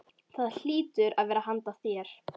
Það hlýtur að vera handa þér.